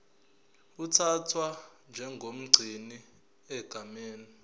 uthathwa njengomgcini egameni